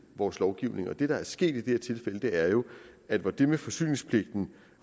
vores lovgivning det der er sket i det her tilfælde er jo at hvor det med forsyningspligten